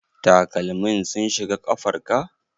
Takalman sun shiga kafar ka?